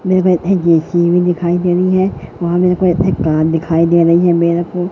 मेरेको एक ए_सी भी दिखाई दे रही है वहां मेरेको एक कार दिखाई दे रही है मेरेको।